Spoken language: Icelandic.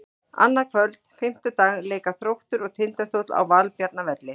Annað kvöld, fimmtudag, leika Þróttur og Tindastóll á Valbjarnarvelli.